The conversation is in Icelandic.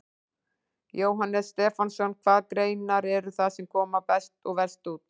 Jóhannes Stefánsson: Hvaða greinar eru það sem koma best og verst út?